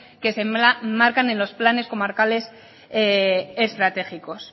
que se enmarcan en los planes comarcales estratégicos